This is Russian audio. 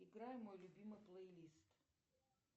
играй мой любимый плейлист